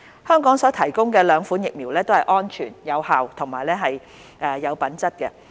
香港所提供的兩款疫苗都是安全、有效及品質良好的。